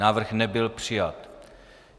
Návrh nebyl přijat.